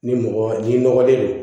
Ni mɔgɔ n'i nɔgɔlen don